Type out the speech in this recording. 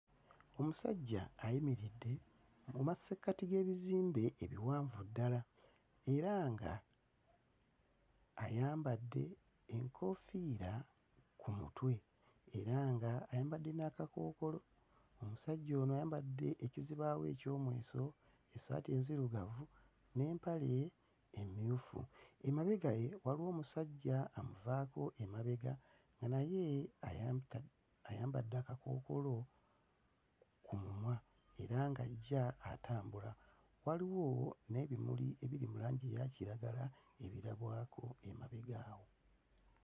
Omusajja ayimiridde mu masekkati g'ebizimbe ebiwanvu ddala era ng'ayambadde enkoofiira ku mutwe era ng'ayambadde n'akakookolo. Omusajja ono ayambadde ekizibaawo eky'omweso, essaati enzirugavu n'empale emmyufu. Emabega we waliwo omusajja amuvaako emabega nga naye ayambadde ayambadde akakookolo ku mumwa era ng'ajja atambula. Waliwo n'ebimuli ebiri mu langi eya kiragala ebirabwako emabega awo.